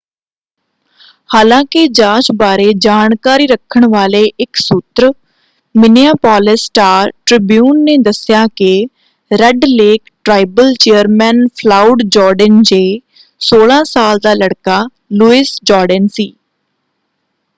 ਹਾਲਾਂਕਿ ਜਾਂਚ ਬਾਰੇ ਜਾਣਕਾਰੀ ਰੱਖਣ ਵਾਲੇ ਇਕ ਸੂਤਰ ਮਿਨਿਆਪੋਲਿਸ ਸਟਾਰ-ਟ੍ਰਿਬਿਊਨ ਨੇ ਦੱਸਿਆ ਕਿ Red Lake tribal chairman Floyd Jourdain ਜੇ 16 ਸਾਲ ਦਾ ਲੜਕਾ ਲੁਇਸ ਜੋਰਡੇਨ ਸੀ।